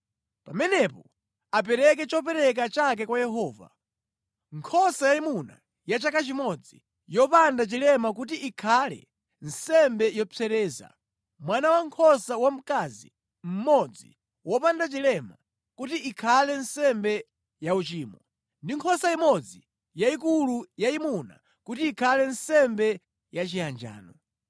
Pamenepo apereke chopereka chake kwa Yehova: Nkhosa yayimuna ya chaka chimodzi yopanda chilema kuti ikhale nsembe yopsereza, mwana wankhosa wamkazi mmodzi wopanda chilema kuti ikhale nsembe yauchimo, ndi nkhosa imodzi yayikulu yayimuna kuti ikhale nsembe yachiyanjano,